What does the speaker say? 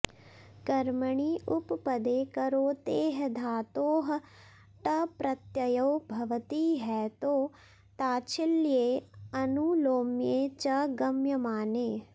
कर्मणि उपपदे करोतेः धातोः टप्रत्ययो भवति हेतौ ताच्छील्ये आनुलोम्ये च गम्यमाने